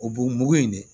O b'o mugu in de